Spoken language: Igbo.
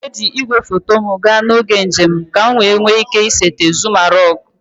M ga-eji igwefoto m gaa n'oge njem ka m nwee ike isete Zuma rock